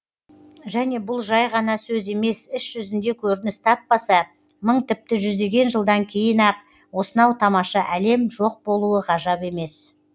және бұл жай ғана сөз емес іс жүзінде көрініс таппаса мың тіпті жүздеген жылдан кейін ақ осынау тамаша әлем жоқ болуы ғажап емес